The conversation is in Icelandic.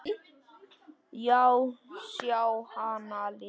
Já, sjá hana lifa.